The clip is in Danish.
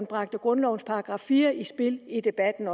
bragte grundlovens § fire i spil i debatten